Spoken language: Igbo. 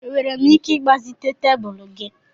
Enwere m ike ịgbazite'm tebụl gị?